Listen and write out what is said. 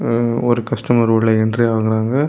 ம்ம் ஒரு கஸ்டமர் உள்ள என்ட்ரி ஆகுறாங்க.